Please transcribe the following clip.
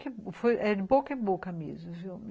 Ah, foi de boca em boca mesmo, viu?